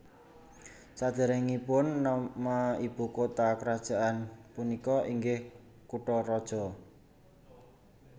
Sadéréngipun nama ibu kota kerajaan punika inggih Kutaraja